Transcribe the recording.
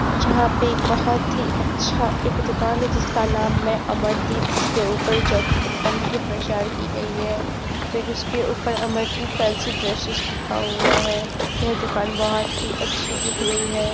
जहाँ पे एक बहोत ही अच्छा एक दुकान है जिसका नाम मै अमरदीप उसके ऊपर जॉकी कंपनी की प्रचार की गई है फिर उसके ऊपर अमरदीप फैंसी ड्रेसेस लिखा हुआ है यह दुकान बहोत ही अच्छी दिख रही है।